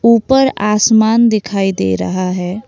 ऊपर आसमान दिखाई दे रहा है।